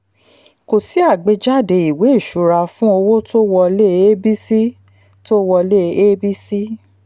kò sí àgbéjáde ìwé ṣura fún owó tó wọlé abc tó wọlé abc